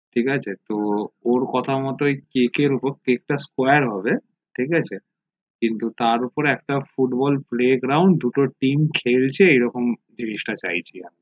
ঠিক আছে তো ওর কথা মতোই cake উপর cake টা square হবে ঠিক আছে কিন্তু তার উপর একটা ফুটবল playground দুটো trem এরকম জিনিসটা চাইছিলাম